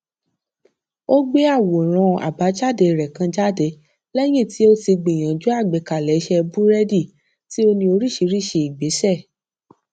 ó gbé àwòrán àbájáde rẹ kan jáde lẹyìn tí ó ti gbìyànjú àgbékalẹ ìṣẹ búrédì tí ó ní oríṣiríṣi ìgbésẹ